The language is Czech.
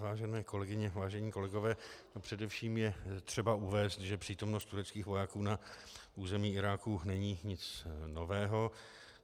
Vážené kolegyně, vážení kolegové, především je třeba uvést, že přítomnost tureckých vojáků na území Iráku není nic nového.